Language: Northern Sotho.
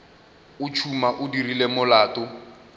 o tšhuma o dirile molato